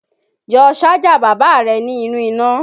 Yọ Sájà bàbá rẹ ní inú iná